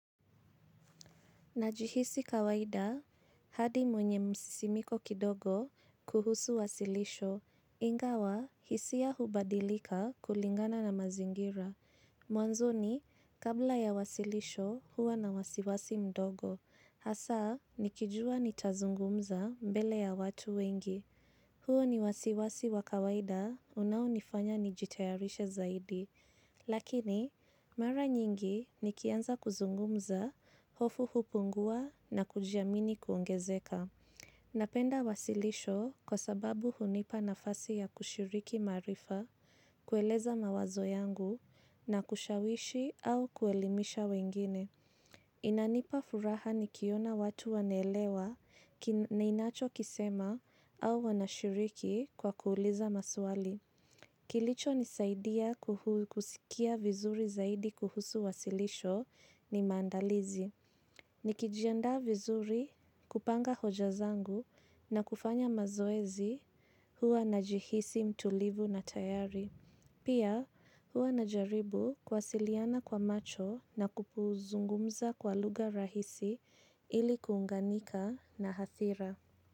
Najihisi kawaida hadi mwenye msisimiko kidogo kuhusu wasilisho, ingawa hisia hubadilika kulingana na mazingira. Mwanzoni kabla ya wasilisho huwa na wasiwasi mdogo, hasa nikijua nitazungumza mbele ya watu wengi. Huo ni wasiwasi wa kawaida unaonifanya nijitayarishe zaidi, lakini mara nyingi nikianza kuzungumza, hofu hupungua na kujiamini kuongezeka. Napenda wasilisho kwa sababu hunipa nafasi ya kushiriki maarifa, kueleza mawazo yangu na kushawishi au kuelimisha wengine. Inanipa furaha nikiona watu wanaelewa ninacho kisema au wanashiriki kwa kuuliza maswali. Kilicho nisaidia kusikia vizuri zaidi kuhusu wasilisho ni maandalizi. Nikijianda vizuri kupanga hoja zangu na kufanya mazoezi huwa najihisi mtulivu na tayari. Pia huwa najaribu kuwasiliana kwa macho na kuzungumza kwa lugha rahisi ili kuunganika na hadhira.